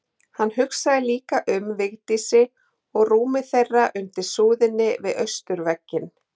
Hann hugsaði líka um Vigdísi og rúmið þeirra undir súðinni við austurvegginn.